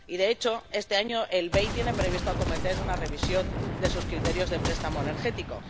De hecho, este año el BEI tiene previsto acometer una revisión de sus criterios de préstamo energético.